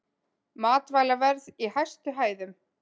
Matvælaverð í hæstu hæðum